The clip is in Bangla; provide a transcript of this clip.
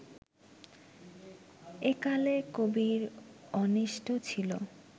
একালে কবির অন্বিষ্ট ছিলো